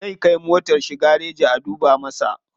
Zai kai motar shi gareji a duba masa.